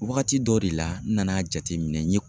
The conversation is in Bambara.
Wagati dɔw de la n nana jateminɛ, n ye